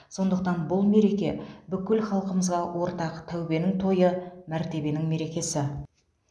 сондықтан бұл мереке бүкіл халқымызға ортақ тәубенің тойы мәртебенің мерекесі